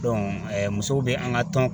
musow be an ka tɔn